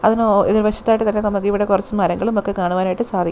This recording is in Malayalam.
അതിന് ഒ എതിർവശത്തായിട്ട് തന്നെ നമുക്ക് ഇവിടെ കുറച്ച് മരങ്ങളും ഒക്കെ കാണുവാൻ ആയിട്ട് സാധിക്കും.